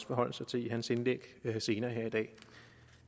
forholde sig til i sit indlæg senere her i dag